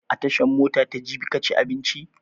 A tashan mota ta jabi ka ci abinci?